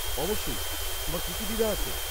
অবশ্যই, তোমার কি কি দ্বিধা আছে?